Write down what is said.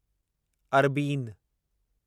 अरबीन